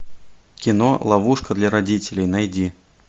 кино ловушка для родителей найди